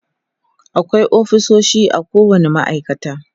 akwai ofisoshi a kowani ma'aikata